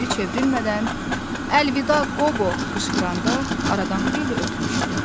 Geri çevrilmədən, əlvida Qobo qışqıranda, aradan xeyli ötmüşdü.